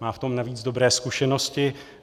Má v tom navíc dobré zkušenosti.